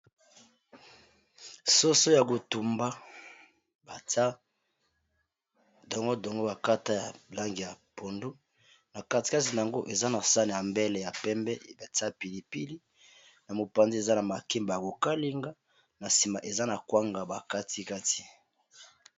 Soso ya kotumba batia dongo dongo bakata ya langi ya pondu na katikati na yango eza na sane ya mbele ya pembe batia pilipili na mopanzi eza na makemba ya kokalinga na sima eza na kwanga bakatikati